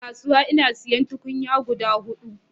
Ina kasuwa ina siyan tukunya guda hudu